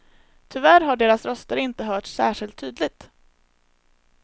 Tyvärr har deras röster inte hörts särskilt tydligt.